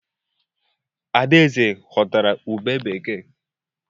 Adaeze ghọtara ubé bekee.